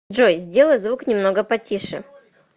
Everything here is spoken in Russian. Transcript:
джой сделай звук немного потише